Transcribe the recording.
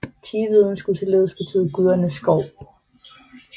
Tiveden skulle således betyde gudernes skov